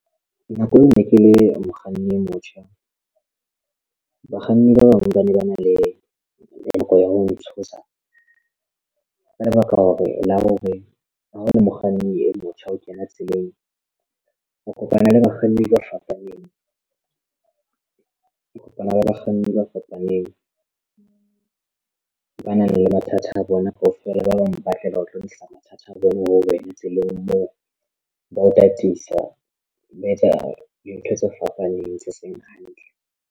Nako eo ne ke le mokganni e motjha bakganni ba bang ba ne ba na le nako ya ho ntshosa ka lebaka la hore la hore ha o le mokganni e motjha o kena tseleng o kopana le ba bakganni ba fapaneng o ba nang le mathata a bona kaofela ba bang ba tle ba tlo lokisa mathata a bona ho wena tseleng moo ba o tataisa le ho etsa dintho tse fapaneng se seng hantle.